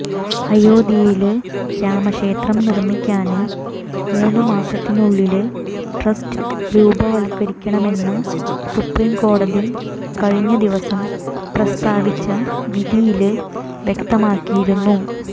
അയോധ്യയില് രാമക്ഷേത്രം നിര്മിക്കാന് മൂന്നുമാസത്തിനുള്ളില് ട്രസ്റ്റ് രൂപവത്കരിക്കണമെന്ന് സുപ്രീം കോടതി കഴിഞ്ഞദിവസം പ്രസ്താവിച്ച വിധിയില് വ്യക്തമാക്കിയിരുന്നു